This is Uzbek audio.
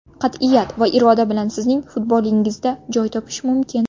Qat’iyat va iroda bilan sizning futbolingizda joy topish mumkin.